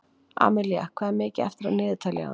Amilía, hvað er mikið eftir af niðurteljaranum?